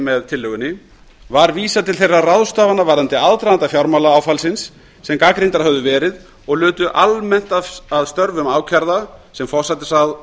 með tillögunni var vísað til þeirra ráðstafana varðandi aðdraganda fjármálaáfallsins sem gagnrýndar höfðu verið og lutu almennt að störfum ákærða sem forsætisráðherra